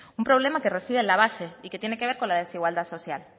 un problema que reside en la base y que tiene que ver con la desigualdad social